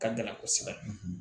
Ka gɛlɛn kosɛbɛ